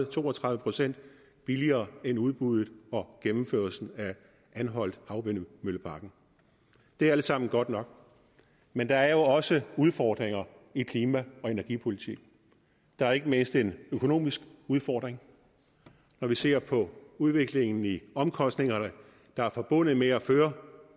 to og tredive procent billigere end i udbuddet og gennemførelsen af anholthavvindmølleparken det er alt sammen godt nok men der er jo også udfordringer i klima og energipolitikken der er ikke mindst en økonomisk udfordring når vi ser på udviklingen i omkostningerne der er forbundet med at føre